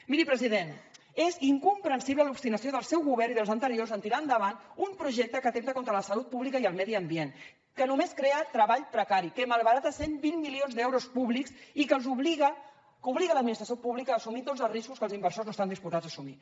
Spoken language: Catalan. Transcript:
miri president és incomprensible l’obstinació del seu govern i dels anteriors en tirar endavant un projecte que atempta contra la salut pública i el medi ambient que només crea treball precari que malbarata cent i vint milions d’euros públics i que obliga l’administració pública a assumir tots els riscos que els inversors no estan disposats a assumir